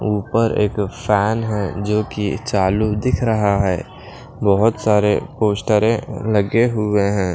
ऊपर एक फैन हैजो कि चालू दिख रहा है बहुत सारे पोस्टरें लगे हुए हैं।